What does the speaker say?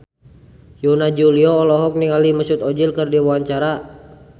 Yana Julio olohok ningali Mesut Ozil keur diwawancara